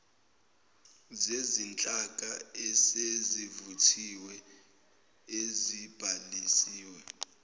zezinhlaka esezivuthiwe ezibhalisiwe